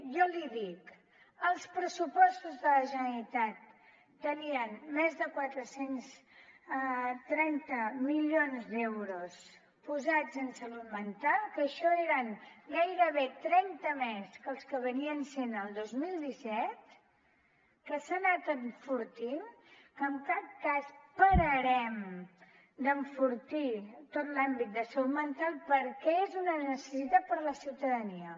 jo l’hi dic els pressupostos de la generalitat tenien més de quatre cents i trenta milions d’euros posats en salut mental que això eren gairebé trenta més que els del dos mil disset que s’ha anat enfortint que en cap cas pararem d’enfortir tot l’àmbit de salut mental perquè és una necessitat per a la ciutadania